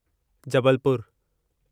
Jabalpur